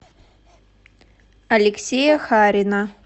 алексея харина